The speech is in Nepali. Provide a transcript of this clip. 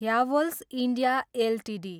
Havells India Ltd